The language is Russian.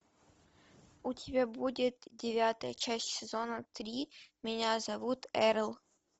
у тебя будет девятая часть сезона три меня зовут эрл